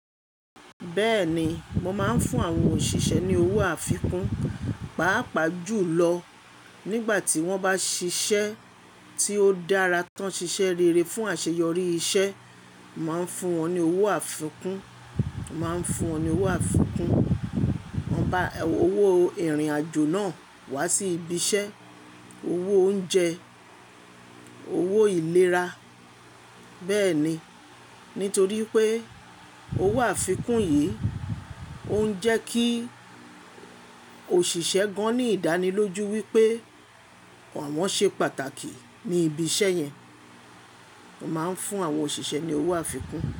Bẹ́ẹ̀ni, mo máa ń fún àwọn òṣìṣẹ́ ní owó àfikún, pàápàá jù lọ nígbà tí wọ́n bá ṣiṣẹ́ tí ó dára tán, ṣiṣẹ́ rere fún àṣeyọrí iṣẹ́. Mo máa ń fún wọn ní owó àfikún, mo máa ń fún wọn ní owó àfikún. Mo bá owó ìrìnàjò náà wá sí ibi iṣẹ́, owó oúnjẹ, owó ìlera. Bẹ́ẹ̀ni, nítorí pé owó àfikún yìí ó ń jẹ́ kí òṣìṣẹ́ gan-an ní ìdánilójú wípé àwọn ṣe pàtàkì ní ibi iṣẹ́ yẹn. Mo máa ń fún àwọn òṣìṣẹ́ ní owó àfikún.